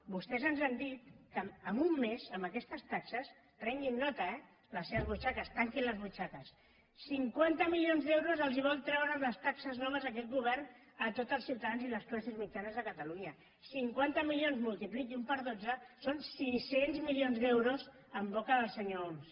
vostès ens han dit que en un mes amb aquestes taxes prenguin ne nota eh les seves butxaques tanquin les butxaques cinquanta milions d’euros els vol treure amb les taxes noves aquest govern a tots els ciutadans i les classes mitjanes de catalunya cinquanta milions multipliquin ho per dotze són sis cents milions d’euros en boca del senyor homs